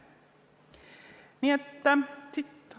Ei lähegi.